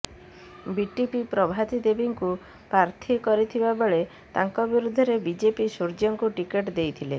BTP Prabhati ଦେବୀଙ୍କୁ ପ୍ରାର୍ଥୀ କରିଥିବା ବେଳେ ତାଙ୍କ ବିରୋଧରେ ବିଜେପି ସୂର୍ଯ୍ୟାଙ୍କୁ ଟିକେଟ ଦେଇଥିଲା